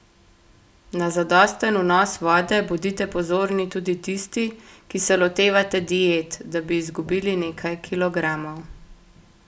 Na zadosten vnos vode bodite pozorni tudi tisti, ki se lotevate diet, da bi izgubili nekaj kilogramov.